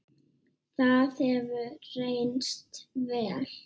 Það hefur reynst vel.